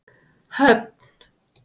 Höfn